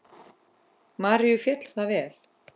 Maríu féll það vel.